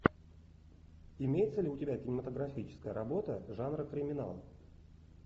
имеется ли у тебя кинематографическая работа жанра криминал